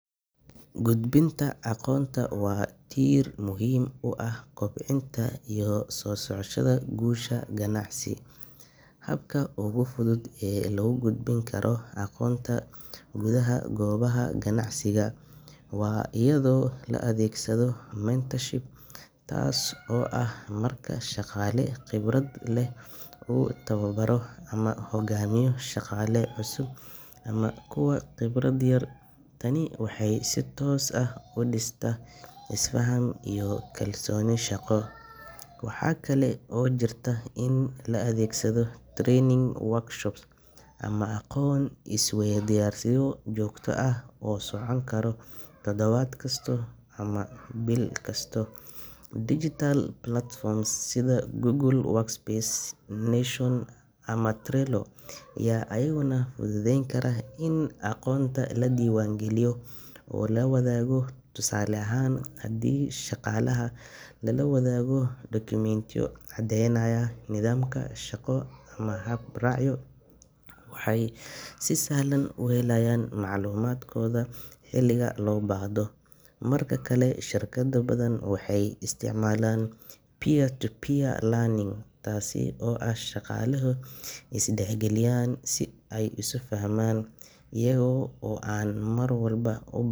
Gudbinta aqoonta waa tiir muhiim u ah kobcinta iyo sii socoshada guusha ganacsi. Habka ugu fudud ee lagu gudbin karo aqoonta gudaha goobaha ganacsiga waa iyadoo la adeegsado mentorship, taas oo ah marka shaqaale khibrad leh uu tababaro ama hoggaamiyo shaqaale cusub ama kuwa khibradda yar. Tani waxay si toos ah u dhistaa is-faham iyo kalsooni shaqo. Waxaa kale oo jirta in la adeegsado training workshops ama aqoon-is-weydaarsiyo joogto ah oo socon kara toddobaad kasta ama bil kasta. Digital platforms sida Google Workspace, Notion, ama Trello ayaa iyaguna fududeyn kara in aqoonta la diiwaangeliyo oo la wadaago. Tusaale ahaan, haddii shaqaalaha lala wadaago dokumentiyo caddeynaya nidaamka shaqo ama hab-raacyo, waxay si sahlan u helayaan macluumaadkooda xilliga loo baahdo. Marka kale, shirkado badan waxay isticmaalaan peer-to-peer learning, taasoo ah in shaqaalaha ay is dhexgaliyaan si ay isu fahmaan, iyaga oo aan mar walba u.